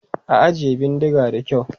Ajiye bindigar da kyau!